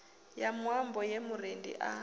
ya muambo ye murendi a